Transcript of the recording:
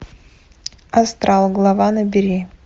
астрал глава набери